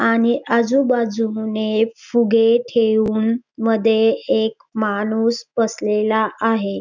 आणि आजूबाजूने फुगे ठेवून मधे एक माणूस बसलेला आहे.